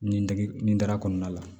Nin dege nin dara kɔnɔna la